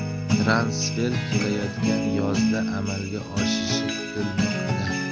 Transfer kelayotgan yozda amalga oshishi kutilmoqda.